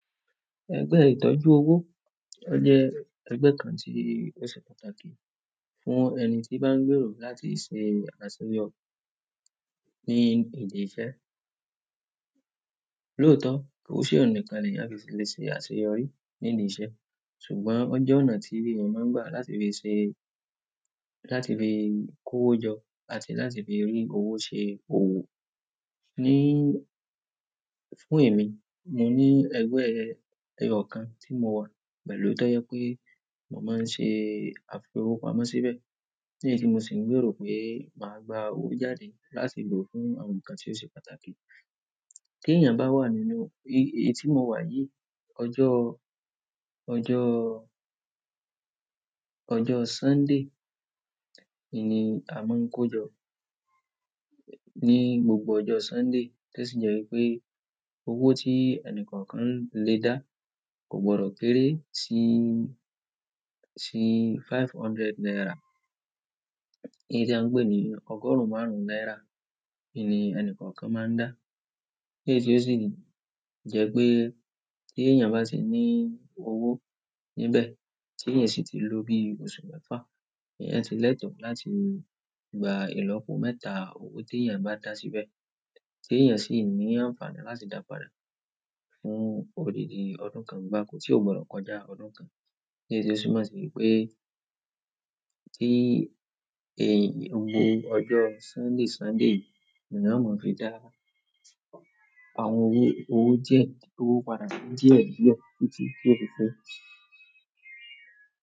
Ẹgbẹ́ ìtọ́jú owó, o jẹ́ ẹgbẹ́ kan tí ó ṣe pàtàkì fún ẹni tíi bá ń gbèrò láti ṣe àṣeyọrí ní ìdí iṣẹ́. Lóòótọ́, kò ṣe ọun nìkàn nì eyan fi lè ṣe àṣeyọrí ní ilé iṣẹ́ ṣùgbọ́n ó jẹ́ ọ̀nà tí èèyàn máa ń gbà láti fi le ṣe, láti fi kó owó jọ àti láti fi rí owó ṣe òwò. Ní, fún èmi, mo ní ẹgbẹ́ ẹyọ kan tí mo wà pẹ̀lú tó jẹ́ pé mo máa ń ṣe àfi owó pamọ́ síbẹ̀, ní èyí tí mo sì ń gbèrò pé màá gba owó jáde láti lo fún àwọn nǹkan tí ó ṣe pàtàkì. Tí èèyàn bá wà nínú, èyí tí mo wà yìí, ọjọ́, ọjọ́, ọjọ́ Sunday, ni a máa ń kó ajọ ní gbogbo ọjọ́ Sunday, tó sì jẹ́ wípé owó tí ẹnì kọ̀ọ̀kan ń lè dá kò gbọdọ̀ kéré sí, sí five hundred naira. Èyí tí à ń pè ní ọgọ́rùn-ún márùn-ún náírà ni ẹnì kọ̀ọ̀kan máa ń dà. Èyí tó sì jẹ́ pé tí èèyàn bá ti ní owó níbé, tí èèyàn sì ti lò bí oṣù mẹ́fà, èèyàn ti lẹ́tọ̀ láti gba ìlọ́po mẹ́ta owó tí èèyàn bá dá síbẹ̀ tí èèyàn sì ní àǹfààní láti dá padà fún odidi ọdún kan gbákò, tí ó gbọdọ̀ kọjá ọdún kan. Èyí tó sì máa ṣe wípé, tíi èyan, gbogbo ọjọ́ Sunday Sunday ni wọ́n máa fi dá àwọn owó, owó díẹ̀, d'owo páda díẹ̀ díẹ̀ títí ti o fi pe.